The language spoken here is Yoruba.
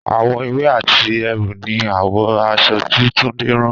Àwọ̀ ewé àti eérú ni àwọ̀ aṣọ tí Túndé rán